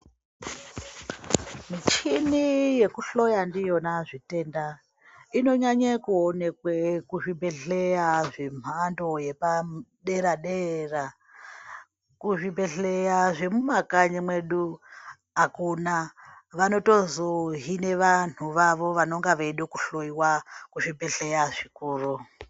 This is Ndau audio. Muchini yekuhloya ndiyona zvitenda inonyanya kuonekwa kuzvibhehleya yenhando yepadera dera. Kuzvibhehleya zvemumakanyi mwedu akuna vanotozohina vanhu vavo vanenge veida kuhloyiwa kuzvibhehleya zvikuru.